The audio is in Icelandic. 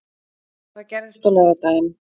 Það gerðist á laugardaginn.